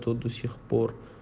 то до сих пор